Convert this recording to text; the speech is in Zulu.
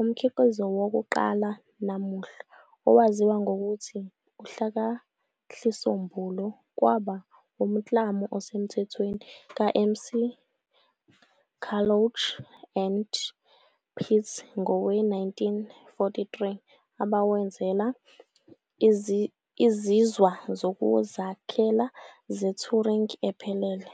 Umkhiqizo wokuqala namuhla owaziwa ngokuthi uhlakahlisombulu kwaba umklamo osemthethweni ka-McCullouch and Pitt ngowe-1943 abawenzela "izinzwa zokuzakhela" ze-Turing-ephelele.